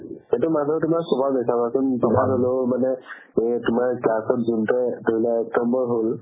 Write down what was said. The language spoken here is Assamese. সেইটো মানুহৰ তুমাৰ স্ৱাভাৱে চাবা চোন class ত যোনতো এক নম্বৰ হ'ল